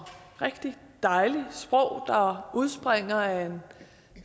rigtig dejligt sprog der udspringer af en